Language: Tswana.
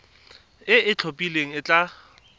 e e itlhophileng e tla